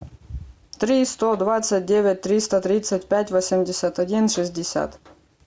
три сто двадцать девять триста тридцать пять восемьдесят один шестьдесят